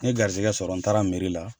N garizigɛ sɔrɔ n taara merila